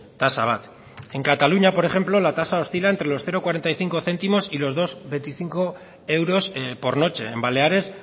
tasa bat en cataluña por ejemplo la tasa oscila entre los cero coma cuarenta y cinco céntimos y los dos coma veinticinco euros por noche en baleares